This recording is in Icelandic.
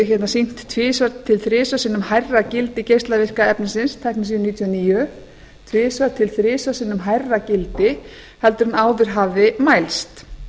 sýnt tvisvar til þrisvar sinnum hærra gildi geislavirka efnisins teknesíum níutíu og níu tvisvar til þrisvar sinnum hærra gildi heldur en áður hafði mælst